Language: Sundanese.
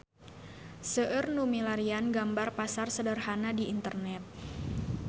Seueur nu milarian gambar Pasar Sederhana di internet